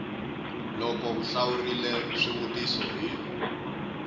loko u hlawurile swivutiso hi